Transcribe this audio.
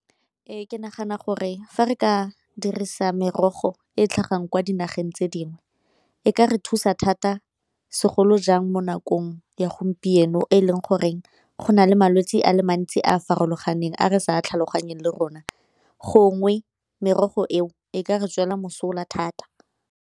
Ee, ke nagana gore fa re ka dirisa merogo e e tlhagang kwa dinageng tse dingwe e ka re thusa thata segolo jang mo nakong ya gompieno e e leng goreng go na le malwetse a le mantsi a a farologaneng a re sa tlhaloganyeng le rona gongwe merogo eo e ka re tswela mosola thata.